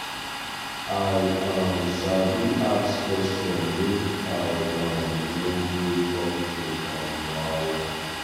i um sabi ask question make i um no go jump to um wahala.